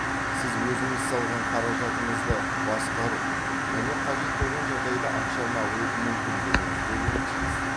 сіз өзіңіз салған қаражатыңызды басқару және қажет болған жағдайда ақшаны алу мүмкіндігіңіз болуы тиіс